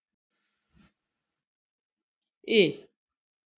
I